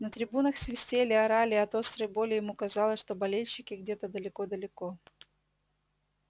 на трибунах свистели орали от острой боли ему казалось что болельщики где-то далеко-далеко